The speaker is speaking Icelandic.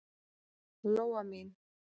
Lóa mín.